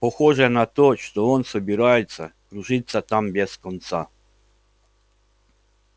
похоже на то что он собирается кружиться там без конца